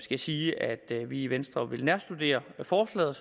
jeg sige at vi i venstre vil nærstudere forslaget